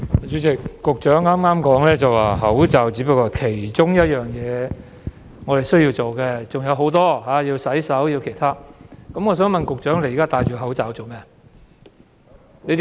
主席，局長剛才說，佩戴口罩只是我們需要做的一件事，還有洗手等其他很多事需要做，那麼我想問，局長現在戴着口罩做甚麼？